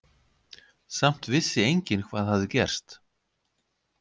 Samt vissi enginn hvað hafði gerst.